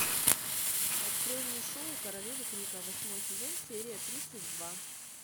открой мне шоу королева крика восьмой сезон серия тридцать два